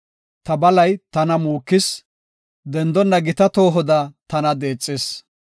Ta balay tana muukis; dendonna gita toohoda tana deexees.